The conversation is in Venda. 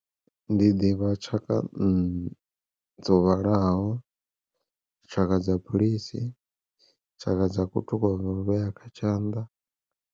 Ndi ḓivha tshaka nṋa dzo vhalaho tshaka dza philisi, tshaka dza khuthu kwa u vhea kha tshanḓa.